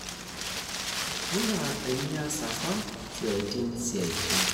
Enaa emias apa siatin siatin.